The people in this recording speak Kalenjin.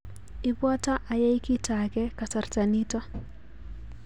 Ibwoto ayai kito ake kasarta nito